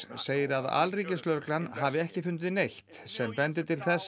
segir að alríkislögreglan hafi ekki fundið neitt sem bendi til þess